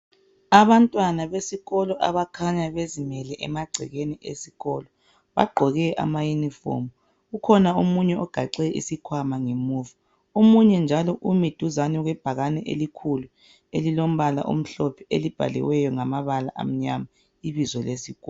Abantwana besikolo abakhanya bezimele emagcekeni esikolo bagqoke ama uniform ukhona omunye ogaxe isikwama ngemuva omunye njalo umi duzane kwebhakane elikhulu elilombala omhlophe elibhaliweyo ngamabala amnyama ibizo lesikolo